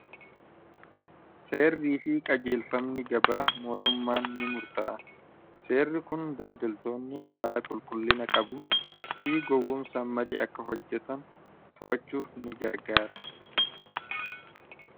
seerrii fi qajeelfamni gabaa mootummaan ni murta'a seerri kun daldeltoonni haala qulqullina qabuun fi gowwomsa malee akka hojjetan to'achuuf ni gargaara